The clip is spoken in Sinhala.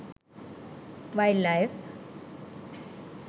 wild life